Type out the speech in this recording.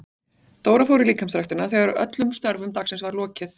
Dóra fór í líkamsræktina þegar öllum störfum dagsins var lokið.